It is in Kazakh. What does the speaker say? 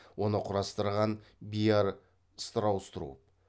оны құрастырған бьяр страуструп